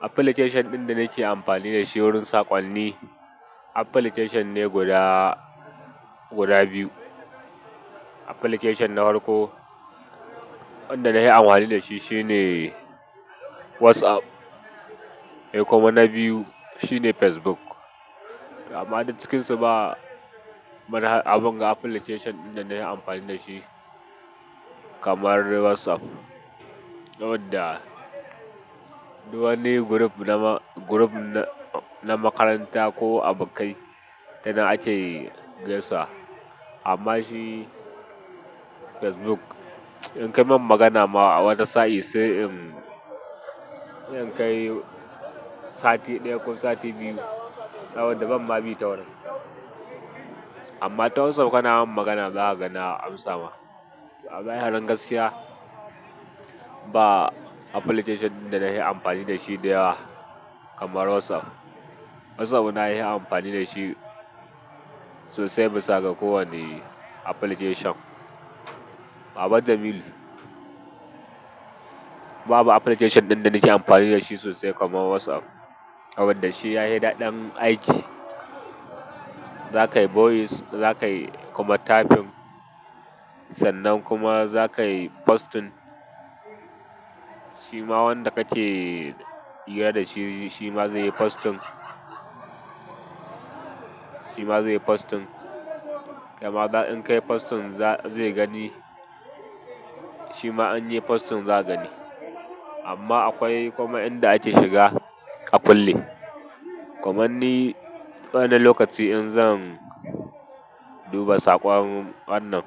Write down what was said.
Application ɗin da nake amfani da shi wurin saƙonni application ne guda, guda biyu. Application na hwarko wanda na hi anhwani da shi shine WhatsApp he kuma na biyu shine Facebook. Amma du cikin su ba abun ga application ɗin da na hi amfani da shi kamar WhatsApp. Wadda duk wani group na, group na makaranta ko abukkai tanan ake gaisawa. Amma shi Facebook in kai min magana ma a wata sa'i sai in kai sati ɗaya ko sati biyu. Nawanda ban ma bi ta wurin. Amma ta WhatsApp kana min magana zaka ga na amsa ma. A zahirin gaskiya ba application ɗin da na yi amfani da shi da yawa kamar WhatsApp. Sabona yin amfani da shi sosai bisa ga kowane application. Baba Jamilu. Babu application ɗin da nike amfani da shi sosai kamar WhatsApp. Saboda shi yahi daɗin aiki. Za ka yi voice, za ka yi kuma typing sannan kuma za kayi posting. Shi ma wanda kake hira da shi, shi ma zai yi posting. Shi ma zai yi posting. Kaima in kai posting zai gani, shi ma in yayi posting zaka gani. Amma akwai kuma inda ake shiga a kulle. Kamanni wani lokaci in zan duba saƙon wannan,